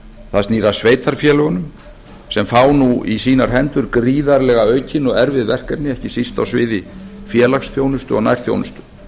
það snýr að sveitarfélögunum sem fá nú í sínar hendur gríðarlega aukin og erfið verkefni ekki síst á sviði félagsþjónustu og nærþjónustu